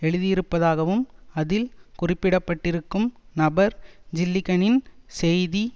எழுதியிருப்பதாகவும் அதில் குறிப்பிடப்பட்டிருக்கும் நபர் ஜில்லிகனின் செய்தி